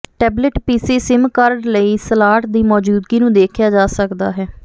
tablet PC SIM card ਲਈ slot ਦੀ ਮੌਜੂਦਗੀ ਨੂੰ ਦੇਖਿਆ ਜਾ ਸਕਦਾ ਹੈ